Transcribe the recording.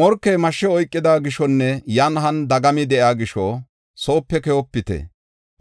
Morkey mashsha oykida gishonne yan han dagami de7iya gisho soope keyopite;